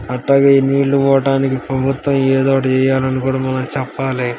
అట్టాగే నీళ్లు పోవడానికి ప్రభుత్వం ఏదో ఒకటి చేయాలనుకోవడం చెప్పాలి.